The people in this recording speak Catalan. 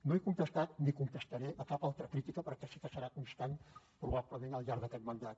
no he contestat ni contestaré cap altra crítica perquè sé que serà constant probablement al llarg d’aquest mandat